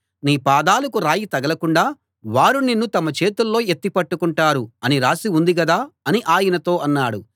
నీ పాదాలకు రాయి తగలకుండా వారు నిన్ను తమ చేతుల్లో ఎత్తిపట్టుకుంటారు అని రాసి ఉంది గదా అని ఆయనతో అన్నాడు